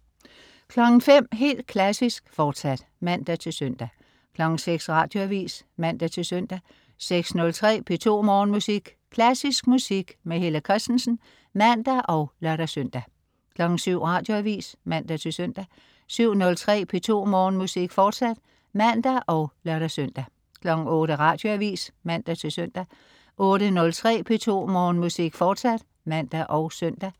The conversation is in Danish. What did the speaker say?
05.00 Helt Klassisk, fortsat (man-søn) 06.00 Radioavis (man-søn) 06.03 P2 Morgenmusik. Klassisk musik. Helle Kristensen (man og lør-søn) 07.00 Radioavis (man-søn) 07.03 P2 Morgenmusik, fortsat (man og lør-søn) 08.00 Radioavis (man-søn) 08.03 P2 Morgenmusik, fortsat (man og søn)